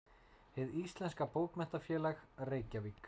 Hið íslenska bókmenntafélag: Reykjavík.